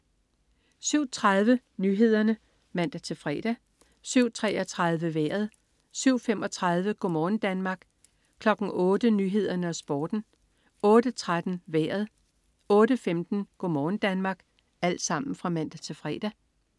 07.30 Nyhederne (man-fre) 07.33 Vejret (man-fre) 07.35 Go' morgen Danmark (man-fre) 08.00 Nyhederne og Sporten (man-fre) 08.13 Vejret (man-fre) 08.15 Go' morgen Danmark (man-fre)